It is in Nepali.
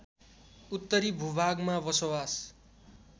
उत्तरी भूभागमा बसोवास